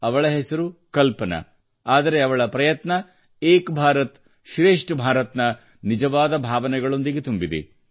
ಅವಳ ಹೆಸರು ಕಲ್ಪನಾ ಆದರೆ ಅವಳ ಪ್ರಯತ್ನ ಏಕ್ ಭಾರತ್ ಶ್ರೇಷ್ಠ ಭಾರತ್ ದ ನಿಜವಾದ ಭಾವನೆಗಳೊಂದಿಗೆ ತುಂಬಿದೆ